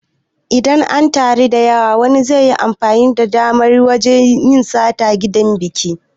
Idan an taru da yawa wani zaiyi amfani da damar wajan yin sata a gidan biki